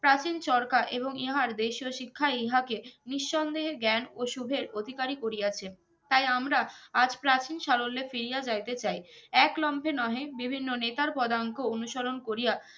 প্রাচীন চরকা এবং ইহার দেশিও শিক্ষা ইহাকে নিঃসন্দেহ জ্ঞান ও সুধের অধিকারি করিয়াছেন তাই আমরা আজ প্রাচীন সালোল্লে ফিরিয়া যাইতে চাই এক ক্লোমছে নহে বিভিন্ন নেতার পদাঙ্ক অনুসরন করিয়া